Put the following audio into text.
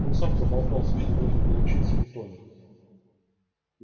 он сам проболтался что должен был учиться в итоне